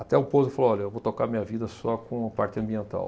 Até o ponto que ele falou, olha, eu vou tocar minha vida só com a parte ambiental.